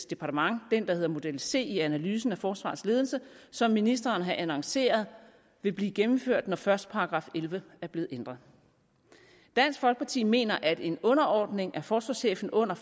departement den der hedder model c i analysen af forsvarets ledelse som ministeren har annonceret vil blive gennemført når først § elleve er blevet ændret dansk folkeparti mener at en underordning af forsvarschefen under